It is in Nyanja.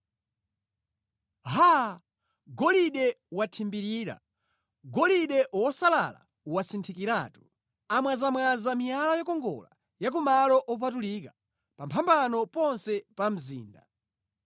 Haa! Golide wathimbirira, golide wosalala wasinthikiratu! Amwazamwaza miyala yokongola ya kumalo opatulika pamphambano ponse pa mzinda.